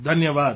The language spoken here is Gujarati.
ધન્યવાદ